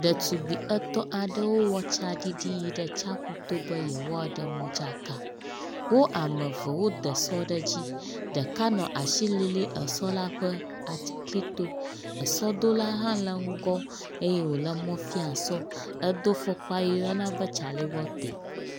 Ɖetugbui etɔ̃ aɖewo wɔ tsaɖiɖi yi tsiaƒuto be yewoaɖe modzaka, wo ame eve wode esɔ ɖe dzi ɖeka nɔ asi lilim esɔ la ƒe aklito esɔdola hã le ŋgƒ eye wòle mɔ fiam sɔ. Edo fɔkpa yi woyɔna be tsalewɔte.